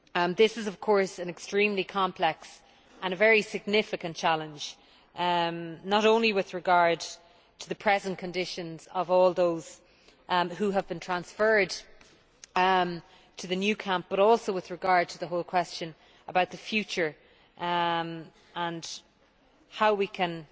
This is an extremely complex and very significant challenge, not only with regard to the present conditions of all those who have been transferred to the new camp, but also to the whole question about the future and how we can